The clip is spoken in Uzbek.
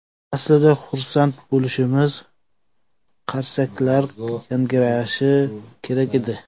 Aslida xursand bo‘lishimiz, qarsaklar yangrashi kerak edi.